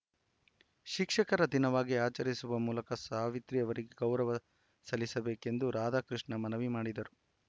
ಶಿಕ್ಷಕರ ದಿನವಾಗಿ ಆಚರಿಸುವ ಮೂಲಕ ಸಾವಿತ್ರಿ ಅವರಿಗೆ ಗೌರವ ಸಲ್ಲಿಸಬೇಕೆಂದು ರಾಧಾಕೃಷ್ಣ ಮನವಿ ಮಾಡಿದರು